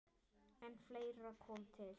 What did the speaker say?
En fleira kom til.